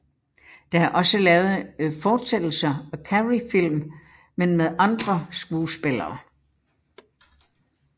Der er også lavet fortsættelser af Carreyfilm men med andre skuespillere